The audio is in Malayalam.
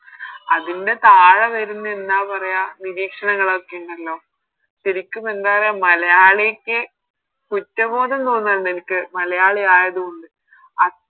അതിനു താഴെ വരുന്ന എന്നാ പറയാ നിരീക്ഷണങ്ങളൊക്കെ ഉണ്ടല്ലോ ശെരിക്കും എന്താ പറയാ മലയാളിക്ക് കുറ്റബോധം തോന്നിന്നിണ്ട് എനിക്ക് മലയാളി ആയത് കൊണ്ട് അഹ്